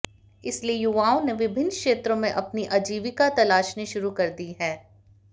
इसलिए युवाओं ने विभिन्न क्षेत्रों में अपनी आजीविका तलाशनी शुरू कर दी है